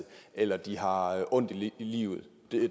eller at de har ondt i livet